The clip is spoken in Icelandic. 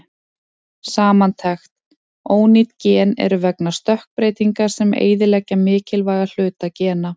Samantekt: Ónýt gen eru vegna stökkbreytinga sem eyðileggja mikilvæga hluta gena.